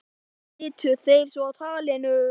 Jón og slitu þeir svo talinu.